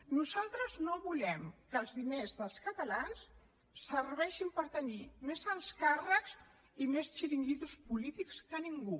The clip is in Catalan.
nosaltres no volem que els diners dels catalans serveixin per tenir més alts càrrecs i més xiringuitos polítics que ningú